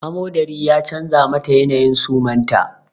Amodari ya canza mata yanayin suman ta